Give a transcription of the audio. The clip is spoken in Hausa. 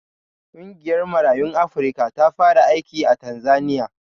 Ƙungiyar Marayun Afrika ta fara aiki a Tanzaniya.